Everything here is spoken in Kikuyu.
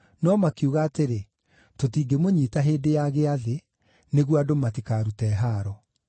No makiuga atĩrĩ, “Tũtingĩmũnyiita hĩndĩ ya Gĩathĩ, nĩguo andũ matikarute haaro.”